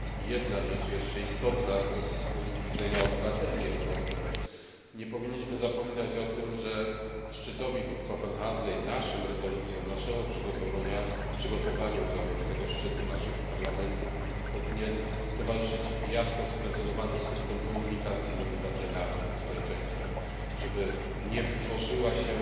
Jedna rzecz jeszcze, istotna z punktu widzenia obywateli Europy nie powinniśmy zapominać o tym, że szczytowi w Kopenhadze, naszym rezolucjom i przygotowaniu Parlamentu do tego szczytu powinien towarzyszyć jasno sprecyzowany system komunikacji z obywatelami, ze społeczeństwem. Żeby nie wytworzyła się